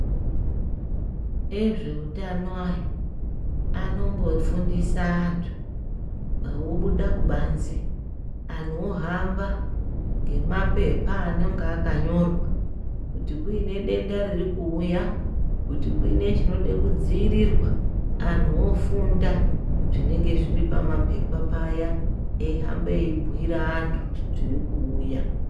Ezveutano aya anombofundisa antu vobuda kubanze, anhu ohamba ngemapepa anenge akanyorwa. Kuti kune denda riri kuuya, kuti kuine chinode kudziirirwa, anhu vofunda zvinenge zviri pamapepa paya. Eyihamba eyibhuyira vantu kuti tiri kuuya.